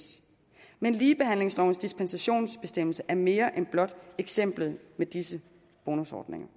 men ligebehandlingslovens dispensationsbestemmelse er mere end blot eksemplet med disse bonusordninger